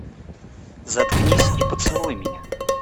заткнись и поцелуй меня